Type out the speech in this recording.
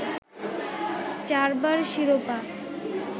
চারবার শিরোপা